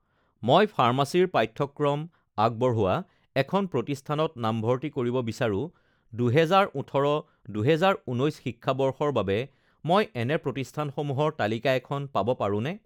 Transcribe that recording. মই ফাৰ্মাচীৰ পাঠ্যক্ৰম আগবঢ়োৱা এখন প্ৰতিষ্ঠানত নামভৰ্তি কৰিব বিচাৰোঁ দুহেজাৰ ওঠৰ-দুহেজাৰ ঊনৈছ শিক্ষাবৰ্ষৰ বাবে মই এনে প্ৰতিষ্ঠানসমূহৰ তালিকা এখন পাব পাৰোনে?